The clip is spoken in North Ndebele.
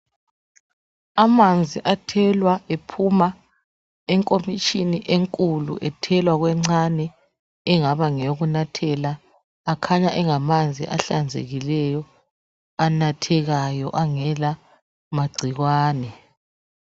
Amanzi athelwa ephuma enkomitshini enkulu ethelwa kwencane engaba ngeyokunathela akhanya engamanzi ahlanzekileyo anathekayo angela magcikwane.